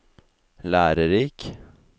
lærerik